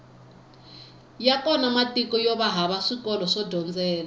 ya kona matiko yova hava swikolo swo dyondzela